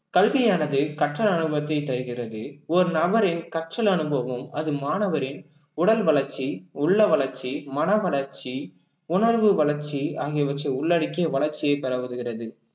கல்வியானது கற்ற அனுபவத்தை தருகிறது ஒரு நபரின் கற்றல் அனுபவம் அது மாணவரின் உடல் வளர்ச்சி, உள்ள வளர்ச்சி, மன வளர்ச்சி, உணர்வு வளர்ச்சி ஆகியவற்றை உள்ளடக்கிய வளர்ச்சியை பெற உதவுகிறது